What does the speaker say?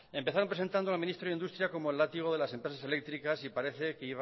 empezaron presentando a el ministro de industria como el látigo de las empresas eléctricas y parece